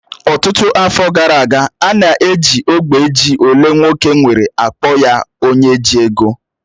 Ọtụtụ afọ gara aga, a na-eji ógbè ji olee nwoke nwere akpọ ya onye ji ego